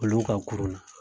Olu ka kurun na.